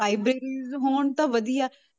Libraries ਹੋਣ ਤਾਂ ਵਧੀਆ।